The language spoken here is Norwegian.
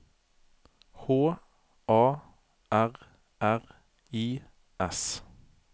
H A R R I S